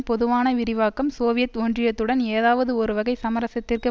பொதுவான விரிவாக்கம் சோவியத் ஒன்றியத்துடன் ஏதாவது ஒரு வகை சமரசத்திற்கு